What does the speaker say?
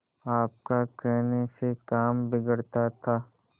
आपका कहने से काम बिगड़ता था